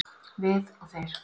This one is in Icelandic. Við og þeir